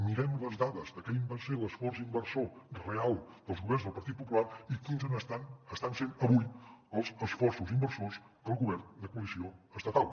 mirem les dades de quin va ser l’esforç inversor real dels governs del partit popular i quins estan sent avui els esforços inversors del govern de coalició estatal